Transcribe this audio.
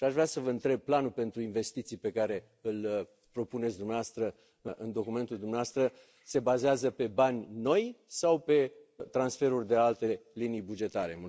Aș vrea să vă întreb, planul pentru investiții pe care îl propuneți dumneavoastră în documentul dumneavoastră se bazează pe bani noi sau pe transferul de alte linii bugetare?